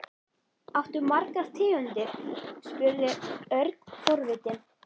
Áttu margar tegundir? spurði Örn forvitinn.